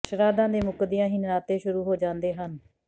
ਸ਼ਰਾਧਾਂ ਦੇ ਮੁੱਕਦਿਆਂ ਹੀ ਨਰਾਤੇ ਸ਼ੁਰੂ ਹੋ ਜਾਂਦੇ ਹਨ